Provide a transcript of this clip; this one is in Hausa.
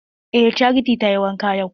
Eh charity tayi wanka yau.